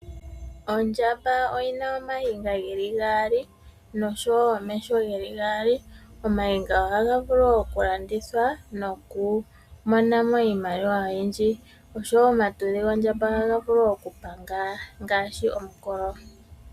Ondjamba oyina ooniga dhili mbali nosho woo omeho geli gaali . Ooniga ohadhi vulu woo oku landithwa noku monamo iimaliwa oyindji. Osho woo omatudhi gondjamba ohaga vulu oku panga ngaashi omukolo.